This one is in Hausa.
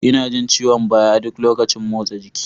Ina jin ciwon baya ɗuk lokacin motsa jiki.